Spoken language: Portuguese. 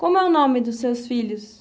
Como é o nome dos seus filhos?